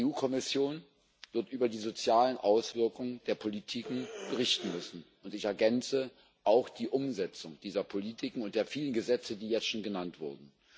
Die EU Kommission wird über die sozialen Auswirkungen der Politiken berichten müssen und ich ergänze auch über die Umsetzung dieser Politiken und der vielen Gesetze, die jetzt schon genannt wurden.